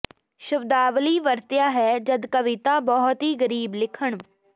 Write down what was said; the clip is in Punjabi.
ਸ਼ਬਦਾਵਲੀ ਵਰਤਿਆ ਹੈ ਜਦ ਕਵਿਤਾ ਬਹੁਤ ਹੀ ਗਰੀਬ ਲਿਖਣ